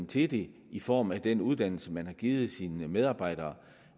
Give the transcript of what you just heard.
til det i form af den uddannelse man har givet sine medarbejdere